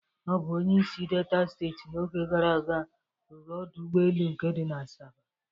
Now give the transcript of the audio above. Ọ bụ onyeisi Delta steeti n'oge gara aga rụrụ ọdọ ụgbọelu nke di na Asaba